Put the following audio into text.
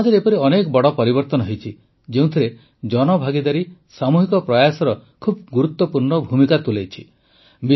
ସମାଜରେ ଏପରି ଅନେକ ବଡ଼ ପରିବର୍ତ୍ତନ ହୋଇଛି ଯେଉଁଥିରେ ଜନଭାଗିଦାରୀ ସାମୂହିକ ପ୍ରୟାସର ବହୁତ ଗୁରୁତ୍ୱପୂର୍ଣ୍ଣ ଭୂମିକା ରହିଛି